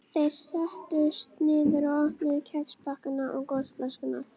Þeir settust niður og opnuðu kexpakkana og gosflöskurnar.